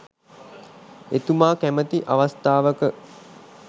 එතුමා කැමැති අවස්ථාවක